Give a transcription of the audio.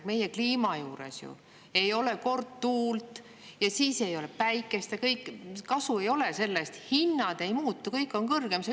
Meie kliimas ei ole kord tuult ja siis ei ole päikest – ja kõik, kasu ei ole sellest, hinnad ei muutu, kõik on kõrgem.